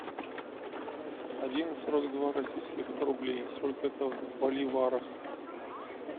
один сорок два российских рублей сколько это в боливарах